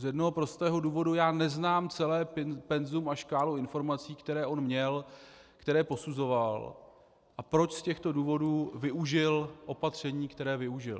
Z jednoho prostého důvodu: Já neznám celé penzum a škálu informací, které on měl, které posuzoval, a proč z těchto důvodů využil opatření, která využil.